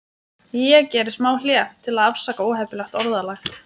Ég geri smá hlé, til að afsaka óheppilegt orðalag.